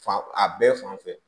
Fan a bɛɛ fan fɛ